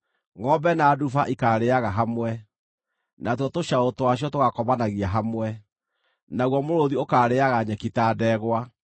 Ngʼombe na nduba ikaarĩĩaga hamwe, natuo tũcaũ twacio tũgaakomanagia hamwe, naguo mũrũũthi ũkaarĩĩaga nyeki ta ndegwa.